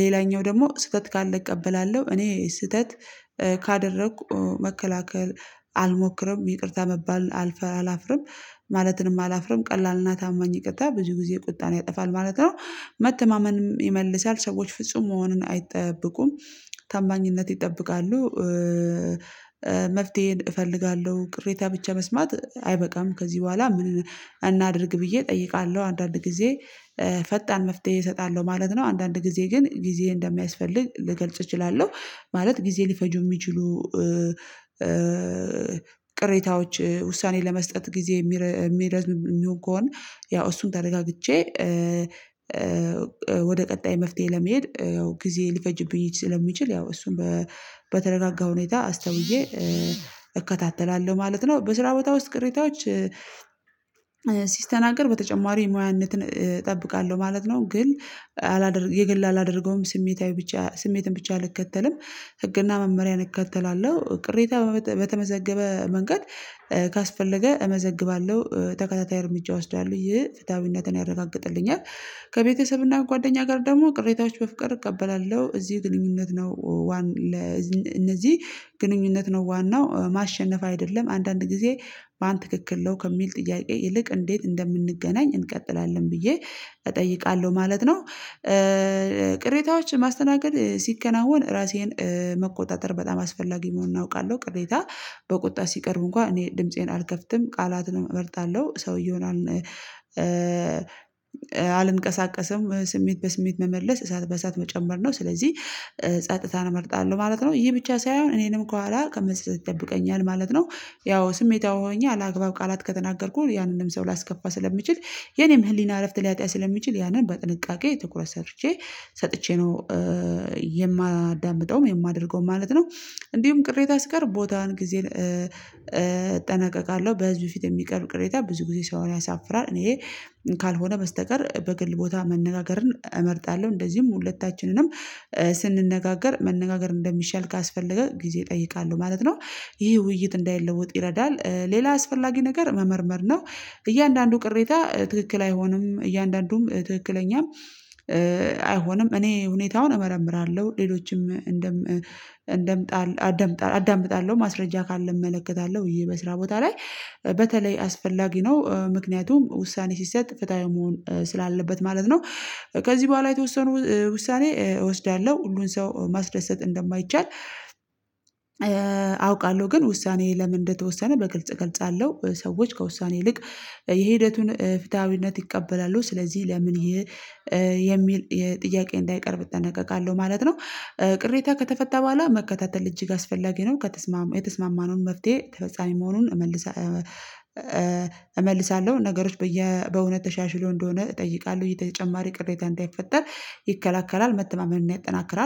ሌላኛው ደግሞ ስህተት ካለ እቀበላለሁ። እኔ ስህተት ካደረኩ መከላከል አልሞክርም። ይቅርታ መባል አልፈራ አላፍርም ማለትንም አላፍርም ቀላልና ታማኝ ይቅርታ ብዙ ጊዜ ቁጣን ያጠፋል ማለት ነው። መተማመንም ይመልሳል። ሰዎች ፍጹም መሆኑን አይጠብቁም። ታማኝነት ይጠብቃሉ መፍትሄን እፈልጋለሁ ቅሬታ ብቻ መስማት አይበቃም ከዚህ በኋላ ምን እናድርግ ብዬ እጠይቃለሁ። አንዳንድ ጊዜ ፈጣን መፍትሄ እሰጣለሁ ማለት ነው። አንዳንድ ጊዜ ግን ጊዜ እንደሚያስፈልግ ልገልጽ እችላለሁ። ማለት ጊዜ ሊፈጁ የሚችሉ ቅሬታዎች ውሳኔ ለመስጠት ጊዜ የሚረዝም የሚሆን ከሆነ ያው እሱን ተረጋግቼ ወደ ቀጣይ መፍትሄ ለመሄድ ያው ጊዜ ሊፈጅብኝ ስለሚችል ያው እሱን በተረጋጋ ሁኔታ አስተውዬ እከታተላለሁ ማለት ነው። በስራ በታውስ ቅሬታዎች ሲስተናገድ በተጨማሪ ሙያነትን እጠብቃለሁ ማለት ነው። ግን አላደርግ የግል አላደርገውም ስሜታዊ ብቻ ስሜትን ብቻ አልከተልም። ህግና መመሪያን እከተላለሁ። ቅሬታ በተመዘገበ መንገድ ካስፈለገ እመዘግባለሁ ተከታታይ እርምጃ እወስዳለሁ። ይህ ፍትሃዊነትን ያረጋግጥልኛል። ከቤተሰብና ጓደኛ ጋር ደግሞ ቅሬታዎች በፍቅር እቀበላለሁ። እዚህ ግንኙነት ነው ዋናው ማሸነፍ አይደለም። አንዳንድ ጊዜ ማን ትክክል ነው ከሚል ጥያቄ ይልቅ እንዴት እንደምንገናኝ እንቀጥላለን ብዬ እጠይቃለሁ ማለት ነው። ቅሬታዎች ማስተናገድ ሲከናወን ራሴን መቆጣጠር በጣም አስፈላጊ መሆን አውቃለሁ። ቅሬታ በቁጣ ሲቀርብ እንኳን እኔ ድምፄን አልከፍትም ቃላትን እመርጣለሁ ሰውዬ ይሆናል አልንቀሳቀሰም ስሜት በስሜት መመለስ እሳት በእሳት መጨመር ነው። ስለዚህ ጸጥታን እመርጣለሁ ማለት ነው። ይሄ ብቻ ሳይሆን እኔንም ከኋላ ከመሳሳት ይጠብቀኛል ማለት ነው። ያው ስሜታዊ ሆኜ አላግባብ ቃላት ከተናገርኩኝ ያንንም ሰው ላስከፋ ስለምችል የኔም ህሊና እረፍት ሊያጣ ስለሚችል ያንን በጥንቃቄ ትኩረት ሰርቼ ሰጥቼ ነው የማዳምጠውም የማደርገውም ማለትነው። እንዲሁም ቅሬታ ሲቀርብ ቦታን ግዜን እጠነቀቃለሁ። በህዝብ ፊት የሚቀርብ ቅሬታ ብዙ ጊዜ ሰውን ያሳፍራል። እኔ ካልሆነ በስተቀር በግል ቦታ መነጋገርን እመርጣለሁ። እንደዚሁም ሁለታችንንም ስንነጋገር መነጋገር እንደሚሻል ካስፈለገ ጊዜ እጠይቃለሁ ማለት ነው። ይሄ ውይይት እንዳይለወጥ ይረዳል። ሌላ አስፈላጊ ነገር መመርመር ነው። እያንዳንዱ ቅሬታ ትክክል አይሆንም፤ እያንዳንዱም ትክክለኛም አይሆንም እኔ ሁኔታውን እመረምራለሁ ሌሎችም እንደም እንደምጣ አዳምጣለሁ ማስረጃ ካለ እመለከታለሁ ይሄ በስራ ቦታ ላይ በተለይ አስፈላጊ ነው። ምክንያቱም ውሳኔ ሲሰጥ ፍትሃዊ መሆን ስላለበት ማለት ነው። ከዚህ በኋላ የተወሰኑ ውሳኔ እወስዳለሁ። ሁሉን ሰው ማስደሰት እንደማይቻል አውቃለሁ ግን ውሳኔ ለምን እንደተወሰነ በግልጽ እገልጻለሁ ሰዎች ከውሳኔ ይልቅ የሂደቱን ፍትሃዊነት ይቀበላሉ። ስለዚህ ለምን ይሄ የሚል የጥያቄ እንዳይቀርብ እጠነቀቃለሁ ማለት ነው። ቅሬታ ከተፈታ በኋላ መከታተል እጅግ አስፈላጊ ነው። የተስማማነው መፍትሄ ተፈጻሚ መሆኑን እመልሳለሁ። ነገሮች በየ በእውነት ተሻሽሎ እንደሆነ እጠይቃለሁ። የተጨማሪ ቅሬታ እንዳይፈጠር ይከለክላል፣ መተማመን እና ያጠናክራል።